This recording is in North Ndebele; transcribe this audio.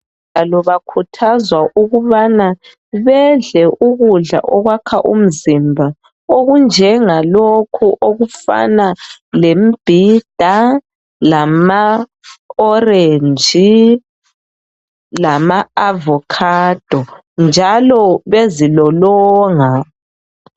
Bakhuthazwa ukuthi bedle ukudla okwakha umzimba okunjengalokhu okufana lemibhida lamaorenji lama avokhado njalo bezilolonga.